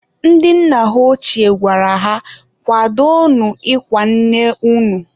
ndị nna ha ọchie gwara ha "kwadonu ịkwa nne unu!"